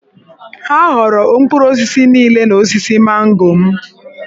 Ha ghọọrọ mkpụrụ osisi niile n’osisi mango m.